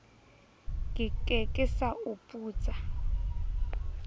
ke ke sa o putsa